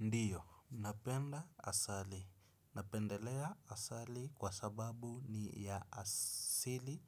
Ndiyo, napenda asali. Napendelea asali kwa sababu ni ya asili